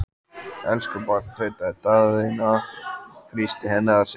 Elsku barn, tautaði Daðína og þrýsti henni að sér.